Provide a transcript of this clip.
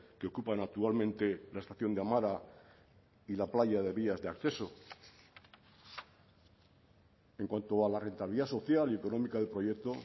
que ocupan actualmente la estación de amara y la playa de vías de acceso en cuanto a la rentabilidad social y económica del proyecto